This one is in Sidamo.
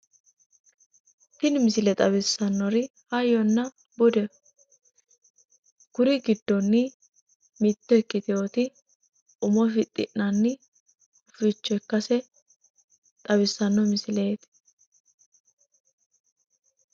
Tini misile xawissannori hayyonna budeho kuri giddoni mitto ikkitewoti umo fix'inanni hufichcho ikkase xawissaano misileti